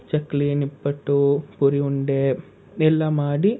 ಚಕ್ಲಿ, ನಿಪ್ಪಟ್ಟು, ಪುರಿ ಉಂಡೆ, ಎಲ್ಲಾ ಮಾಡಿ,